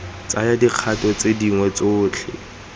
tsaya dikgato tse dingwe tsotlhe